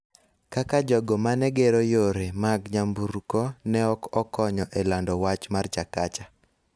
kaka jogo ma ne gero yore mag nyamburko ne ok okonyo e lando wach mar Chakacha.